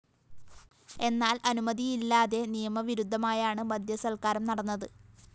എന്നാല്‍ അനുമതിയില്ലാതെ നിയമ വിരുദ്ധമായാണ് മദ്യസല്‍ക്കാരം നടന്നത്